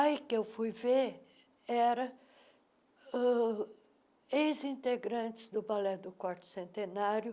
Aí o que eu fui ver era ãh ex-integrantes do Balé do quarto Centenário